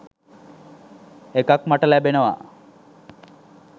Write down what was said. එකක් මට ලැබෙනවා